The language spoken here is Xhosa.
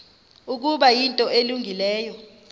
ukuba yinto elungileyo